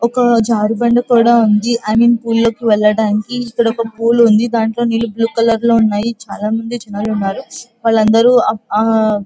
ఒక జారుబండా కూడా ఉంది. అండ్ పూల్ లోకి వెళ్ళడానికి ఇక్కడ పూల్ ఉంది. దానిలో నీరు బ్లూ కలర్ లో ఉన్నాయి. చాలా మంది జనాలు ఉన్నారు వాళ్ళందరూ --